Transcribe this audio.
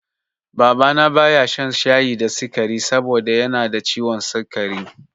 Baba na baya shan shayi da sikari saboda yanada ciwon sikari